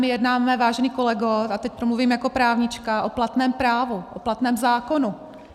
My jednáme, vážený kolego, a teď promluvím jako právnička, o platném právu, o platném zákonu.